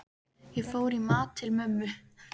Ég fór í mat til mömmu.